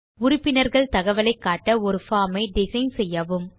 உறுப்பினர்கள் தகவலை காட்ட ஒரு பார்ம் ஐ டிசைன் செய்யவும்